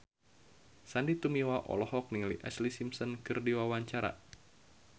Sandy Tumiwa olohok ningali Ashlee Simpson keur diwawancara